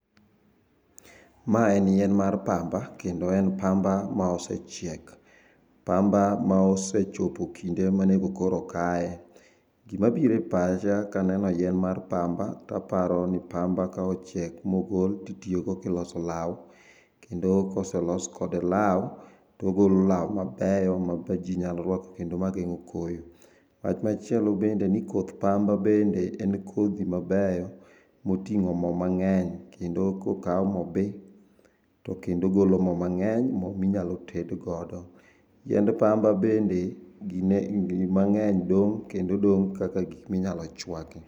Maen yien mar pamba kendo en pamba ma osechiek, pamba maosechopo kinde monego koro kae. Gima bire pacha kaneno yien mar pamba, taparo ni pamba kaochiek maogol ti tiogo kiloso lau, kendo kose los kode lau togolo lau mabeyo mab jii nyalo rwako kendo mageng'o koyo. Wach machielo bende ni koth pamba mabende en kodhi mabeyo moting'o moo mang'eny kendo kokau mobii to kendo golo moo mang'eny, moo minyalo tedgodo. Yiend pamba bende gin mang'eny dong' kendo dong' kaka gik minyalo chwaki.